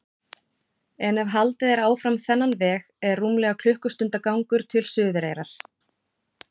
En ef haldið er áfram þennan veg er rúmlega klukkustundar gangur til Suðureyrar.